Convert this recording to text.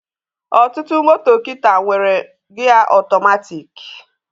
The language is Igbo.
Ọtụtụ moto kịta nwere gia ọtọmatiki